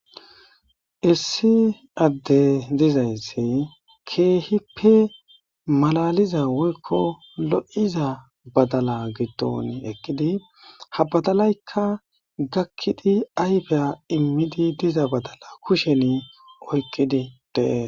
Issi adde dizaysse keehi pe malaliza woykko lo'iza badala gitton ekkidi ha batalaykka gakkidi ayfeya immidi diza badala kushen oykkidi dee..